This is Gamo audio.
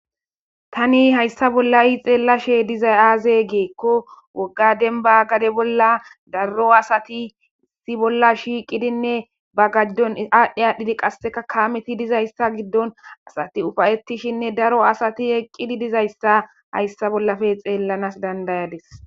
Tani hayssa bolla i xeellashe dizay aaze geekko woggadenba gade bolla daro asati issi bolla shiiqidinne ba gajdon aadhdhi aadhdhidi qasseka kaameti dizayssa giddon asati ufayettishinne daro asati eqqidi dizayssa hayssa bollafe xeellanas dandayades.